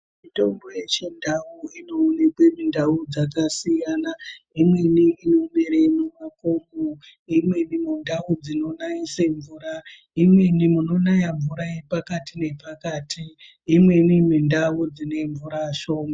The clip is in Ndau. Mitombo yechindau inoonekwe mundau dzakasiyana. Imweni inomere mumakomo, imweni mundau dzinonaise mvura, imweni munonaya mvura iri pakati nepakati, imweni mundau dzine mvura shoma.